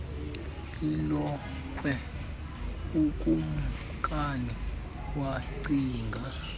ilokhwe ukumnkani wacinga